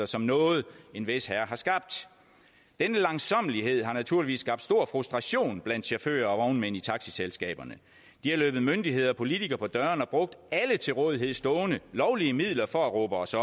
som noget en vis herre har skabt denne langsommelighed har naturligvis skabt stor frustration blandt chauffører og vognmænd i taxiselskaberne de har løbet myndigheder og politikere på dørene og brugt alle til rådighed stående lovlige midler for at råbe os